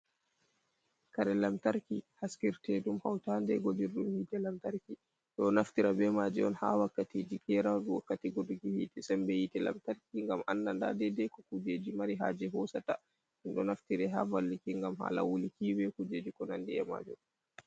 Kare lamtarki, haskirte ɗum hautande godirruhite lamtarki. Ɗum ɗo naftira be maje on ha wakkati ji keradu wakati gudki hiti sambe yite lamtarki, ngam anana daidai ko kujeji mari haje hosata ɗum ɗo naftire ha valluki ngam hala wuluki be kuje jiko nande e bannin.